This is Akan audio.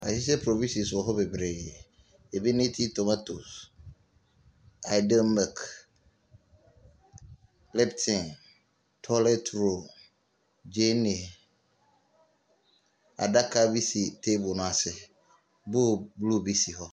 Yeahyehyɛ profihyins wɔ hɔ beberee. Ebi ne tintomatos, iydeal mik, lipton, tɔɔlɛt rool, gyeene. Adaka bi si taeble no ase. Bool bluu bi si hɔ.